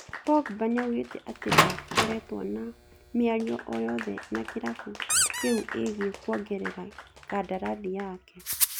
Pogba nĩaugĩte atĩ ndakoretwo na mĩario oyothe na kĩrabu kĩu ĩĩgiĩ kũongerera kandarathi yake